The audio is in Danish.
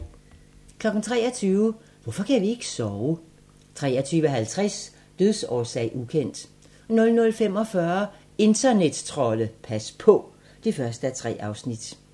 23:00: Hvorfor kan vi ikke sove? 23:50: Dødsårsag: ukendt 00:45: Internettrolde - pas på! (1:3)